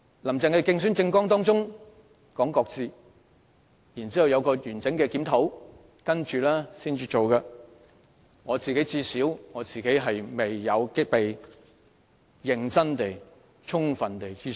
"林鄭"曾在競選政綱中表示會擱置有關評估，待進行完整檢討後才會實施，但最少我本人未有被認真和充分諮詢。